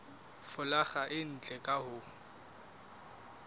folaga e ntle ka ho